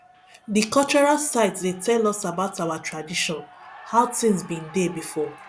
di cultural site dey tell us about our tradition how tins bin dey before